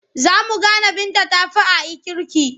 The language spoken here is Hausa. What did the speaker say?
Za su gane Binta ta fi A'i kirki.